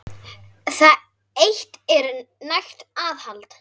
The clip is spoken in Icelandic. Það eitt er nægt aðhald.